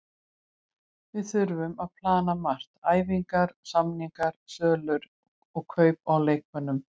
Við þurfum að plana margt, æfingar, samningar, sölur og kaup á leikmönnum.